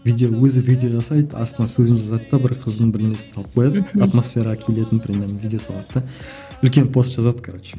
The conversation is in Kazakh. видео өзі видео жасайды астына сөзін жазады да бір қыздың бір несін салып қояды мхм атмосфераға келетін примерно видео салады да үлкен пост жазады короче